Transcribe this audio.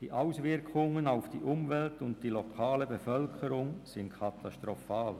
Die Auswirkungen auf die Umwelt und die lokale Bevölkerung sind katastrophal.